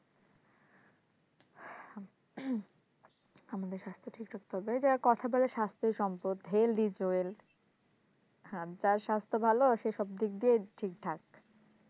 আমাদের স্বাস্থ্য ঠিক রাখতে হবে এই যে কথাই বলে স্বাস্থ্যই সম্পদ health is wealth হ্যাঁ যার স্বাস্থ্য ভালো সে সব দিক দিয়েই ঠিকঠাক